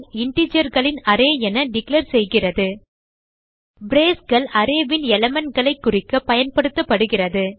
integerகளின் array என declare செய்கிறது braceகள் arrayன் elementகளை குறிக்க பயன்படுத்தப்படுகிறது